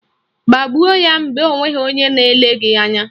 Gbagbuo ya mgbe onweghị onye na-ele gị anya!